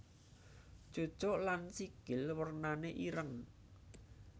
Cucuk lan sikil wernané ireng